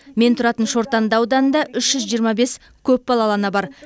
мен тұратын шортанды ауданында үш жүз жиырма бес көпбалалы ана бар